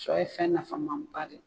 Shɔ ye fɛn nafama ba de ye.